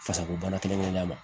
Fasako bana kelen kelenna ma